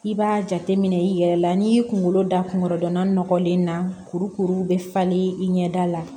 I b'a jateminɛ i yɛrɛ la n'i y'i kungolo da kungo dɔnna nɔgɔlen na kurukuru bɛ falen i ɲɛda la